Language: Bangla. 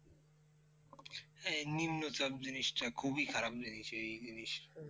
হ্যাঁ নিম্নচাপ জিনিসটা খুবই খারাপ জিনিস, এই জিনিস